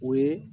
O ye